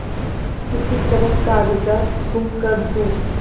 किसी तरह कागजात गुम कर दूँ